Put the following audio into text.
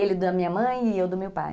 Ele da minha mãe e eu do meu pai.